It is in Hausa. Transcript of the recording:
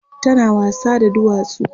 tana wasa da duwatsu